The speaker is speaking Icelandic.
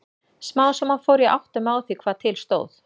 Smám saman fór ég að átta mig á því hvað til stóð.